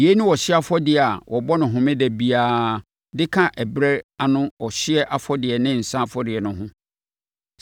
Yei ne ɔhyeɛ afɔdeɛ a wɔbɔ no homeda biara de ka ɛberɛ ano ɔhyeɛ afɔdeɛ ne nsã afɔrebɔ ho no.